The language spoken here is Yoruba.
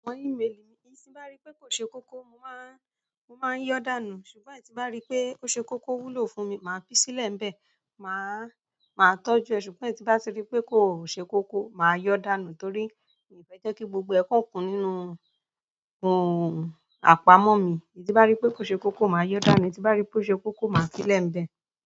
Àwọn ímélì mi, èyí tí n bá rí pé kò ṣe kókó mo máa yọ́ dànù, ṣùgbọ́n èyí tí bá rí pé ó ṣe kókó o wúlò fún mi, màá fi sílẹ̀ ń bẹ. Màá tọ́jú ẹ̀ ṣùgbọ́n èyí tí n bá ti rí pé kò ṣe kókó, màá yọ dànù torí mi ò fẹ́ jẹ́ kí gbogbo e kan kùn nínú, nínú àpamọ́ mi. Èyí tí n bá rí pé kò ṣe kókó màá yọ dànù, èyí tí n bá rí pé ó ṣe kókó màá fi sílẹ̀ ń bẹ.